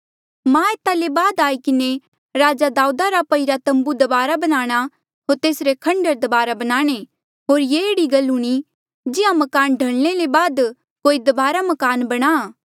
मां एता ले बाद आई किन्हें राजा दाऊदा रा पईरा तम्बू दबारा बनाणा होर तेसरे खंडहर दबारा बणाणे होर ये एह्ड़ी गल हूणी जिहां मकान ढलणे ले बाद कोई दबारा मकान बणाहां